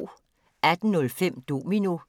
18:05: Domino